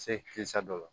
Se kisɛ dɔ la